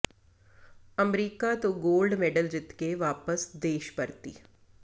America ਤੋਂ gold medal ਜਿੱਤ ਕੇ ਵਾਪਸ ਦੇਸ਼ ਪਰਤੀ